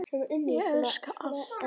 Ég elska allt.